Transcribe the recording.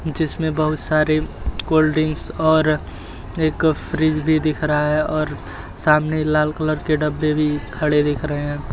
जिसमें बहुत सारे कोल्ड ड्रिंकस और एक फ्रीज़ भी दिख रहा है और सामने लाल कलर के डब्बे भी खड़े दिख रहे हैं।